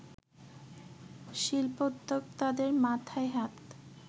শিল্পোদ্যোক্তাদের মাথায় হাত